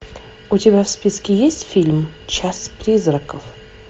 у тебя в списке есть фильм час призраков